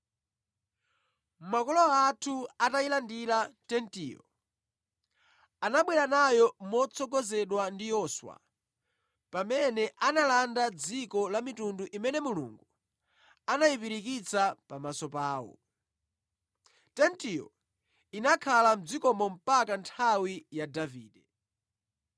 Makolo athu, atayilandira Tentiyo, anabwera nayo motsogozedwa ndi Yoswa pamene analanda dziko la mitundu imene Mulungu anayipirikitsa pamaso pawo. Tentiyo inakhala mʼdzikomo mpaka nthawi ya Davide,